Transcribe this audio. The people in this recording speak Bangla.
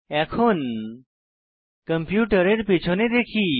এখন কম্পিউটারের পিছনে দেখি